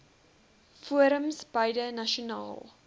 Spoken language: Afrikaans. forums beide nasionaal